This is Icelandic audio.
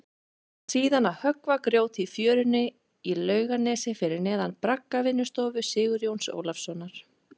Og síðan að höggva grjót í fjörunni í Laugarnesi fyrir neðan braggavinnustofu Sigurjóns Ólafssonar.